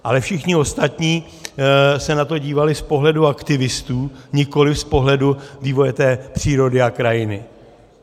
Ale všichni ostatní se na to dívali z pohledu aktivistů, nikoliv z pohledu vývoje přírody a krajiny.